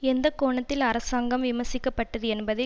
எந்த கோணத்தில் அரசாங்கம் விமர்சிக்க பட்டது என்பதை